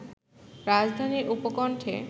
রাজধানীর উপকণ্ঠে